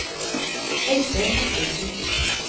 Øystein Bertelsen